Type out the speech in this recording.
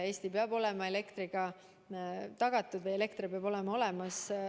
Eestis peab olema elekter olemas.